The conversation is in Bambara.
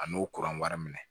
A n'o kuran wari minɛ